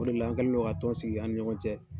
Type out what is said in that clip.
O de la, an kɛ len don ka tɔn sigi an ni ɲɔgɔn cɛ